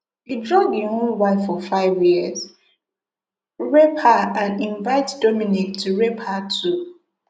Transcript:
e drug im own wife for five year rape her and invite dominique to rape her too